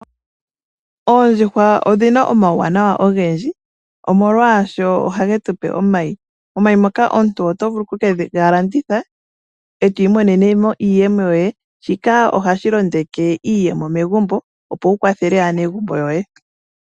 Oondjuhwa odhina omauwanawa ogendji, oshoka ohadhi tu pe omayi. Omayi ngoka omuntu to vulu oku ga landitha etwiimonene iiyemo yoye, shika ohashi londeke iiyemo megumbo, opo wu kwathele aanegumbo yoye.